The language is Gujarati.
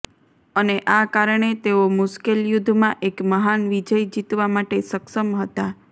અને આ કારણે તેઓ મુશ્કેલ યુદ્ધમાં એક મહાન વિજય જીતવા માટે સક્ષમ હતા